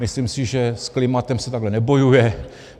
Myslím si, že s klimatem se takhle nebojuje.